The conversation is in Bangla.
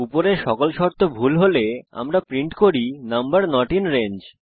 উপরের সকল শর্ত ভুল হলে আমরা প্রিন্ট করি নাম্বার নট আইএন রেঞ্জ